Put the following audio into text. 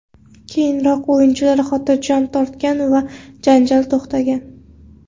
Keyinroq o‘yinchilar xotirjam tortgan va janjal to‘xtagan.